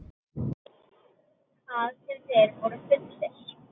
Hvað sem þeir voru fullir.